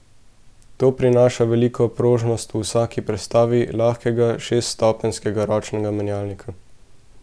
To prinaša veliko prožnost v vsaki prestavi lahkega šeststopenjskega ročnega menjalnika.